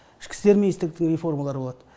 ішкі істер министрліктердің реформалары болады